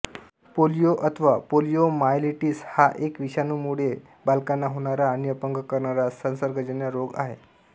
polio अथवा poliomyelitis हा एक विषाणूंमुळे बालकांना होणारा आणि अपंग करणारा संसर्गजन्य रोग आहे